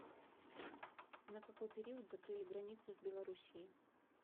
на какой период закрыли границу с белоруссией